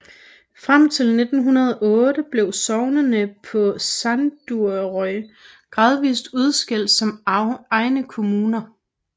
Frem til 1908 blev sognene på Suðuroy gradvist udskilt som egne kommuner